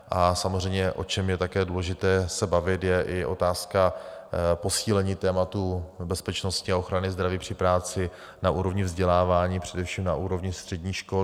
A samozřejmě, o čem je také důležité se bavit, je i otázka posílení tématu bezpečnosti a ochrany zdraví při práci na úrovni vzdělávání, především na úrovni středních škol.